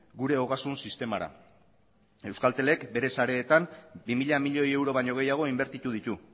gure ogasun sistemara euskaltelek bere sareetan bi mila milioi euro baino gehiago inbertitu ditu